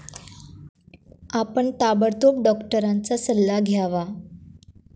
आपण ताबडतोब डॉक्टरांचा सल्ला घ्यावा.